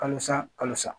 Kalosa kalo sa